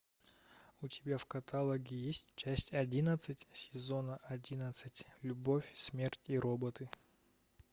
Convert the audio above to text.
у тебя в каталоге есть часть одиннадцать сезона одиннадцать любовь смерть и роботы